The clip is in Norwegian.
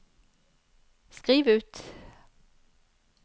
skriv ut